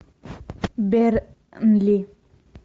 бернли